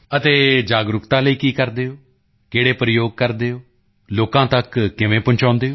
ਅਤੇ ਜਾਗਰੂਕਤਾ ਲਈ ਕੀ ਕਰਦੇ ਹੋ ਕਿਹੜੇ ਪ੍ਰਯੋਗ ਕਰਦੇ ਹੋ ਲੋਕਾਂ ਤੱਕ ਕਿਵੇਂ ਪਹੁੰਚਾਉਂਦੇ ਹੋ